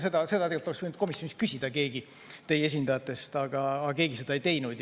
Seda tegelikult oleks võinud komisjonis küsida keegi teie esindajatest, aga keegi seda ei teinud.